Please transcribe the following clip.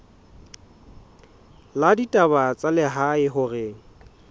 la ditaba tsa lehae hore